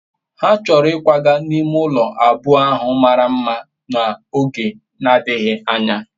ha choro ikwaga n'ime ulo abuo ahu mara mma n'oge adighi anya